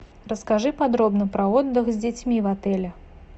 расскажи подробно про отдых с детьми в отеле